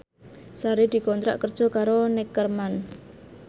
Sari dikontrak kerja karo Neckerman